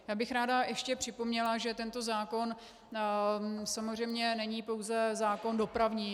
Já bych ráda ještě připomněla, že tento zákon samozřejmě není pouze zákon dopravní.